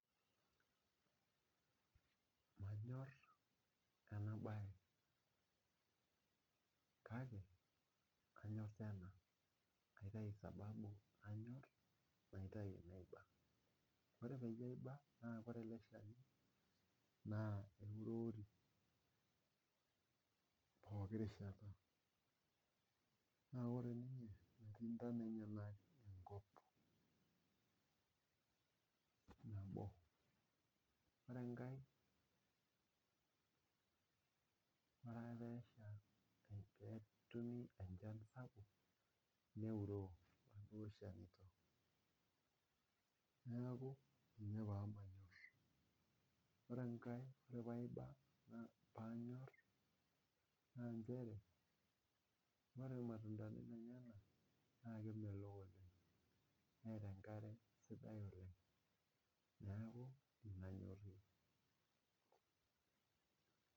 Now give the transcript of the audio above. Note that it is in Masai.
Manyor ena bae kake nanyor tena ,kaitayu sababu pee anyor naitayu pee aiba ,ore peyie aiba naa kore ele shani eurori pooki rishata amu metii ntonat enyanak enkop, nabo ore enkae ore pee esha enchan sapuk neuroo eleshani, neeku ina pee manyor. ore enkae pee anyor naa nchere ore irmatuntani lenyenak naa kemelok oleng neta enkare sidai oleng neeku in paanyor.